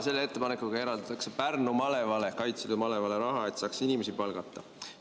Selle ettepanekuga eraldatakse Kaitseliidu Pärnumaa malevale raha, et saaks inimesi palgata.